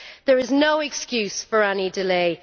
There is no excuse for any delay.